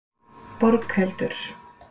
Borghildur